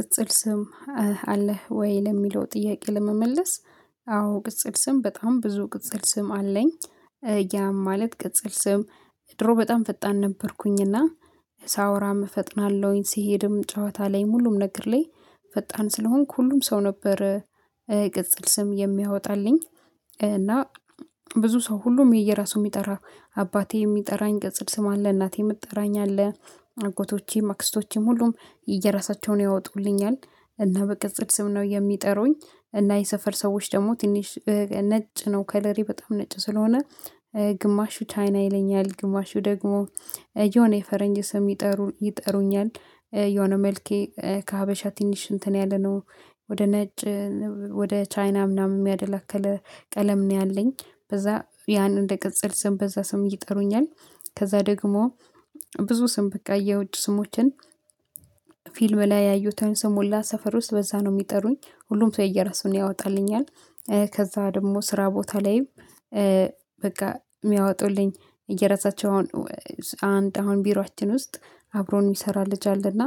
ቅጽል ስም አለህ ወይ ለሚለው ጥያቄ ለመመለስ አዎ ቅጽል ስም በጣም ብዙ ቅጽል ስም አለኝ። ያም ማለት ቅጽል ስም። ድሮ በጣም ፈጣን ነበርኩኝና ሳወራም እፈጥናለሁኝ ሲሄድም ጨዋታ ላይ ሙሉም ነግርሌ። ፈጣን ስለሆንኩ ሁሉም ሰው ነበር ቅጽል ስም የሚያወጣልኝ። እና ብዙ ሰው ሁሉም የየራሱ የሚጠራ አባቴ የሚጠራኝ ገጽድ ስም አለ። እናቴ የምትጠራኝ አለ። አጎቶቼ ማክስቶቼም ሁሉም የራሳቸውን ያወጡልኛል እና በቅጽት ስም ነው የሚጠሩኝ። እና የሰፈር ሰዎች ደግሞ ትንሽ ነጭ ነው ከለሪ በጣም ነጭ ስለሆነ ግማሹ ቻይና ይለኛል። ግማሹ ደግሞ የሆነ የፈረንጅ ስም ይጠሩ ይጠሩኛል። የሆነ መልኬ ከሀበሻ ትንሽ እንትን ያለነው ወደ ነጭ ወደ ቻይና ምናምን የሚያደላክል ቀለም ነው ያለኝ። በዛ ያን እንደ ቅጽል ስም በዛ ስም እየጠሩኛል። ከዛ ደግሞ ብዙ ስም በቃ የውጭ ስሞችን። ፊልም ላይ ያየሁት ሰሞላ ሰፈር ውስጥ በዛ ነው የሚጠሩኝ። ሁሉም ሰው የየራሱን ያወጣልኛል። ከዛ ደግሞ ስራ ቦታ ላይም። በቃ የሚያወጡልኝ እየረሰቸው አሁን አንድ አሁን ቢሯችን ውስጥ አብሮን የሚሰራ ልጅ አለና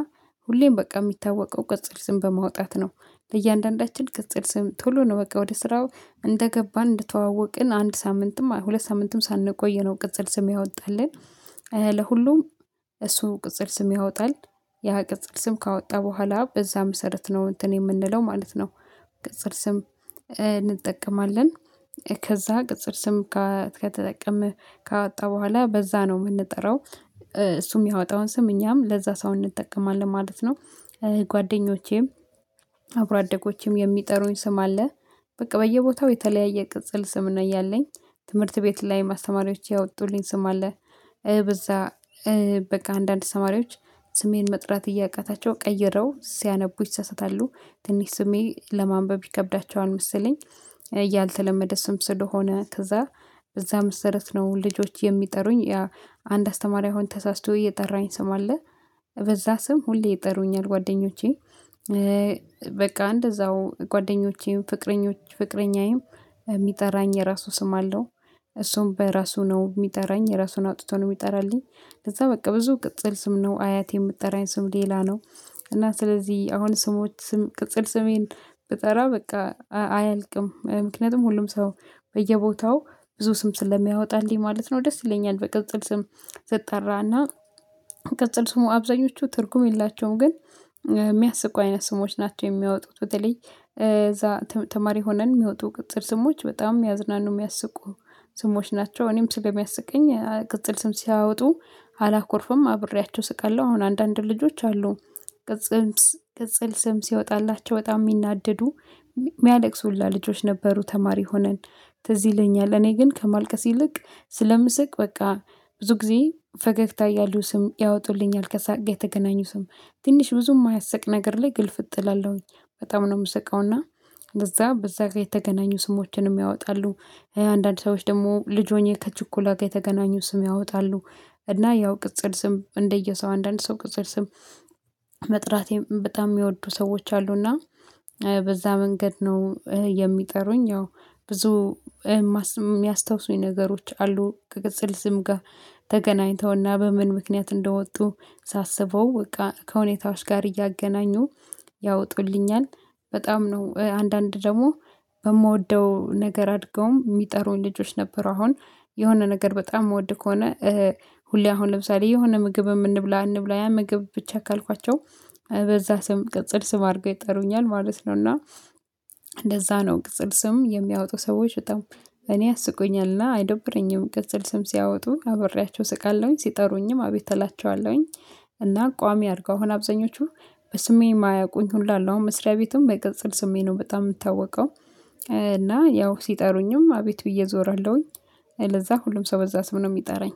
ሁሌም በቃ የሚታወቀው ቅጽል ስም በማውጣት ነው። ለእያንዳንዳችን ቅጽል ስም ቶሎ ነው በቃ ወደ ስራው እንደገባን እንድተዋወቅን አንድ ሳምንትም ሁለት ሳምንትም ሳንቆይ ነው ቅጽል ስም ያወጣልን። ለሁሉም እሱ ቅጽል ስም ያወጣል። ያ ቅጽል ስም ካወጣ በኋላ በዛ መሰረት ነው እንትን የምንለው ማለት ነው። ቅጽር ስም እንጠቀማለን። ከዛ ቅጽር ስም ከተጠቀመህ ካወጣህ በኋላ በዛ ነው የምንጠራው። እሱ የሚያወጣውን ስም እኛም ለዛ ሰው እንጠቀማለን ማለት ነው። ጓደኞቼም አብሮ አደጎቼም የሚጠሩኝ ስም አለ። በቃ በየቦታው የተለያየ ቅጽል ስም ነው እያለኝ። ትምህርት ቤት ላይ ማስተማሪያዎች ያወጡልኝ ስም አለ። በዛ በቃ አንዳንድ አስተማሪዎች ስሜን መጥራት እያቃታቸው ቀይረው ሲያነቡ ይሰሰታሉ ትንሽ ስሜ ለማንበብ ይከብዳቸዋል መሰለኝ። ያልተለመደ ስም ስለሆነ ከዛ በዛ መሰረት ነው ልጆች የሚጠሩኝ ያ አንድ አስተማሪ አሁን ተሳስቶ እየጠራኝ ስም አለ። በዛ ስም ሁሌ ይጠሩኛል ጓደኞቼ። በቃ እንደዛው ጓደኞቼ ፍቅረኞች ፍቅረኛዬም የሚጠራኝ የራሱ ስም አለው። እሱም በራሱ ነው የሚጠራኝ የራሱን አውጥቶ ነው የሚጠራልኝ። ለዛ በቃ ብዙ ቅጽል ስም ነው አያት የምትጠራኝ ስም ሌላ ነው። እና ስለዚህ አሁን ስሞች ስም ቅጽል ስሜን ብጠራ በቃ አያልቅም ምክንያቱም ሁሉም ሰው በየቦታው ብዙ ስም ስለሚያወጣልኝ ማለት ነው። ደስ ይለኛል በቅጽል ስም ስጠራና ቅጽል ስሙ አብዛኞቹ ትርጉም የላቸውም። ግን የሚያስቁ አይነት ስሞች ናቸው የሚያወጡት በተለይ እዛ ተማሪ ሆነን የሚወጡ ቅጽል ስሞች በጣም የሚያዝናኑ የሚያስቁ ስሞች ናቸው። እኔም ስል የሚያስቀኝ ቅጽል ስም ሲያወጡ አላኮርፍም አብሬያቸው ስቃለሁ። አሁን አንዳንድ ልጆች አሉ። ቅጽል ስም ሲወጣላቸው በጣም የሚናደዱ የሚያለቅሱላ ልጆች ነበሩ። ተማሪ ሆነን ትዝ ይለኛል እኔ ግን ከመልቀስ ይልቅ ስለምስቅ በቃ ብዙ ጊዜ ፈገግታ እያሉ ስም ያወጡልኛል ከሳቀ ጋር የተገናኙ ስም። ትንሽ ብዙ የማያስቅ ነገር ላይ ግልፍ እጥላለሁኝ በጣም ነው የምስቀውና። እዛ በዛ ጋር የተገናኙ ስሞችንም ያወጣሉ። የአንዳንድ ሰዎች ደግሞ ልጅ ሆኜ ከችኩላ ጋር የተገናኙ ስም ያወጣሉ። እና ያው ቅጽል ስም እንደየሰው አንዳንድ ሰው ቅጽል ስም መጥራቴም በጣም የሚወዱ ሰዎች አሉና። በዛ መንገድ ነው የሚጠሩኝ። ያው ብዙ የሚያስታውሱኝ ነገሮች አሉ። ከቅጽል ስም ጋር ተገናኝተውና በምን ምክንያት እንደወጡ ሳስበው በቃ ከሁኔታዎች ጋር እያገናኙ ያወጡልኛል። በጣም ነው አንዳንድ ደግሞ በምወደው ነገር አድገውም የሚጠሩኝ ልጆች ነበሩ። አሁን የሆነ ነገር በጣም የምወድ ከሆነ ሁሌ አሁን ለምሳሌ የሆነ ምግብ የምንብላ አንብላ ያ ምግብ ብቻ ካልኳቸው በዛ ስም ቅጽል ስም አድርገው ይጠሩኛል ማለት ነው። እና እንደዛ ነው ቅጽል ስም የሚያወጡ ሰዎች በጣም እኔ አስቆኛልና አይደብረኝም ቅጽል ስም ሲያወጡ አበራቸው ስቃለሁኝ ሲጠሩኝም አቤተላቸዋለሁኝ። እና ቋሚ አድርገው አብዛኞቹ በስሜን የማያውቁኝ ሁሉ አለው አሁን መስሪያ ቤቱም በቅጽል ስሜት ነው በጣም የምታወቀው። እና ያው ሲጠሩኝም አቤት ብዬ እዞራለሁኝ። ለዛ ሁሉም ሰው በዛ ስም ነው የሚጠራኝ